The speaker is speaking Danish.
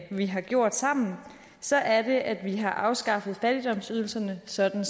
vi har gjort sammen så er det at vi har afskaffet fattigdomsydelserne sådan